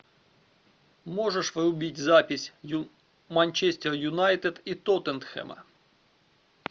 можешь врубить запись манчестер юнайтед и тоттенхэма